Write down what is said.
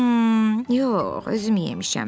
Xmm, yox, özüm yemişəm.